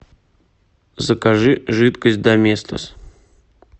закажи жидкость доместос